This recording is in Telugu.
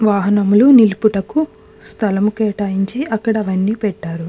వాహనములు నిలుపుటకు స్థలము కేటాయించి అక్కడ అవన్నీ పెట్టారు.